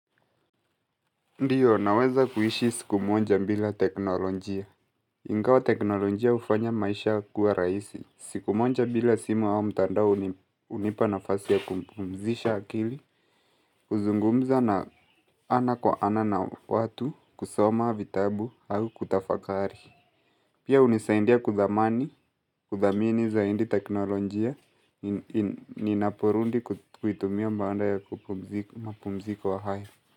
Ndiyo, naweza kuhishi siku moja bila teknolojia. Ingawa teknolojia hufanya maisha kuwa rahisi. Siku moja bila simu wao mtandao hunipa nafasi ya kumpumzisha akili, kuzungumza na ana kwa ana na watu, kusoma, vitabu, au kutafakari. Pia hunisaindia kuthamani, kuthamini zaidi teknolojia, ninaporundi kuitumia baada ya mapumziko haya.